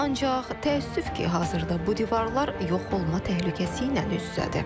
Ancaq təəssüf ki, hazırda bu divarlar yox olma təhlükəsi ilə üz-üzədir.